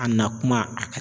A na kuma a ka